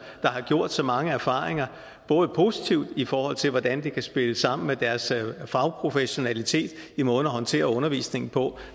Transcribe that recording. der har gjort sig mange erfaringer både positivt i forhold til hvordan det kan spille sammen med deres fagprofessionalitet i måden at håndtere undervisningen på